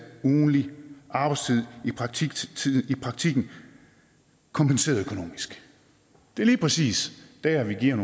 ugentlig arbejdstid i praktikken kompenseret økonomisk det er lige præcis der vi giver